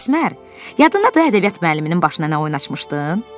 Əsmər, yadındadır ədəbiyyat müəlliminin başına nə oyun açmışdın?